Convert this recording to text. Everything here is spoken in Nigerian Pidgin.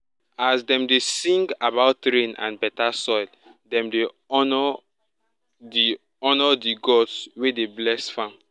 as dem dey sing about rain and better soil dem dey honour the honour the gods wey dey bless farm.